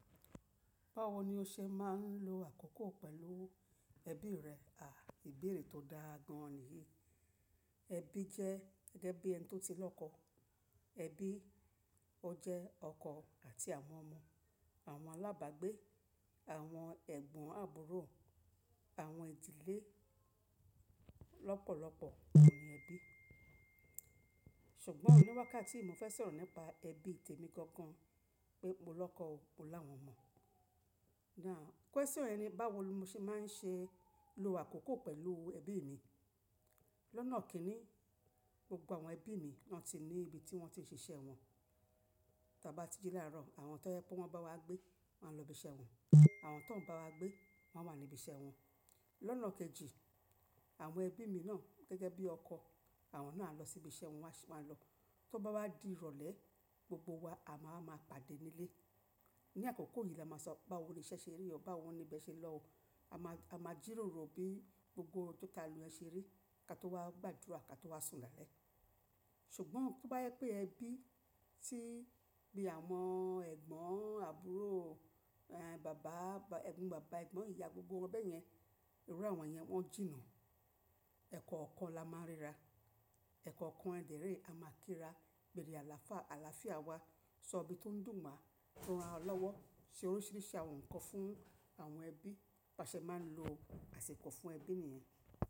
Báwo ni o ṣe máa ń lo àkókò pẹ̀lú ẹbí rẹ? À ìbeèrè tó dáa gan niyìí. Ẹbí jẹ́ gẹ́gẹ́ bí ẹni tó ti lọ́kọ. Ẹbí, ó jẹ́ ọkọ àti àwọn ọmọ, àwọn alábàgbé, àwọn ẹ̀gbọ́n àbúrò, àwọn ìdílé lọ́pọ̀lọpọ̀ ni ẹbí. Ṣùgbọ́n ní wákàtí i, mo fẹ́ sọ̀rọ̀ nípa ẹbí tèmi gangan pé mo lọ́kọ o, mo láwọn omọ̀. Now, question yẹn ni báwo l mo ṣe máa ń ṣe lo àkókò pẹ̀lú ẹbí mi. Lónà kínni, gbogbo àwọn ẹbí mi wọ́n ti ní ibi tí wọ́n ti ń ṣiṣẹ́ wọn. Ta bá ti ji láàárọ̀, àwọn tó jẹ pé wọ́n bá wa gbé wán lọ ibi iṣẹ́ wọn. Àwọn tóń bá wa gbé wán wà nibi iṣẹ́ wọn. Lónà kejì, àwọn ẹbí mi náà gẹ́gẹ́ bí ọkọ àwọn náà a lọ sibi iṣẹ́ wọn, wọ́n sh, wan lọ. Tó bá wá di ìrọ̀lẹ́, gbogbo wa a máa wa maa pàdé nílé. Ni àkókò yìí la máa sọ báwo niṣẹ́ ṣe rí o, báwo nibẹ̀ ṣe lọ o. A máa, a máa jìròrò bí gbogbo ohun tó ta lu ẹ́ ṣe rí, ká tó wá gbàdúrà ká tó wá sùn lálẹ́. Ṣùgbọ́n tó bá yẹ pé ẹbí tí, bí àwọn ẹ̀gbọ́n àbúrò, eh, bàbá, ẹ̀gbọ́n bàbá, ẹ̀gbọ́n ìyá gbogbo wọn bẹ́yẹn, irú àwọn yẹn wọ́n jìnnà. Ẹ̀kọ́okan la máa ń ríra. Ẹ̀kọ́ọ̀kan yẹn dẹ́ re a máa kíra. Bere alafa, àlàáfíà wá, sọbí tó n dùn wá, ránra lọ́wọ́, ṣe oríṣiríṣi àwọn nǹkan fún àwọn ẹbí. Baa ṣe máa ń lo àsiko fún ẹbí nìyen.